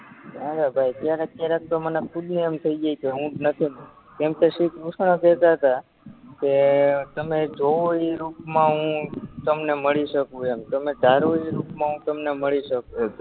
ના ના ભાઈ ક્યારે ક્યારેક તો મને ખુદને એમ થય જાય કે હુજ નથી ને કેમ કે શ્રીકૃષ્ણ કેતાતા કેઅ તમે જોવો ઇ રૂપમાં હું તમને મળી સકું એમ તમે ધારો ઇ રૂપમાં હું તમને મળી સકું એમ